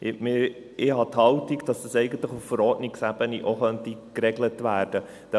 Ich habe die Haltung, dass das eigentlich auch auf Verordnungsebene geregelt werden könnte.